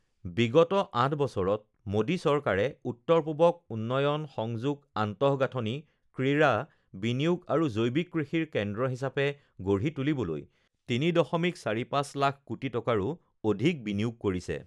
বিগত ৮ বছৰত মোডী চৰকাৰে উত্তৰ পূৱক উন্নয়ন, সংযোগ, আন্তঃগাঁথনি, ক্ৰীড়া, বিনিয়োগ আৰু জৈৱিক কৃষিৰ কেন্দ্ৰ হিচাপে গঢ়ি তুলিবলৈ ৩.৪৫ লাখ কোটি টকাৰো অধিক বিনিয়োগ কৰিছে